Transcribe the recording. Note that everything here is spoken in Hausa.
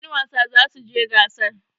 yanwasan za su je gasar!